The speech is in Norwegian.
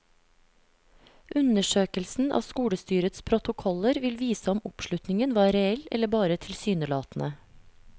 Undersøkelsen av skolestyrets protokoller vil vise om oppslutningen var reell eller bare tilsynelatende.